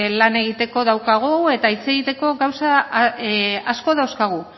lan egiteko daukagula eta hitz egiteko gauza asko dauzkagula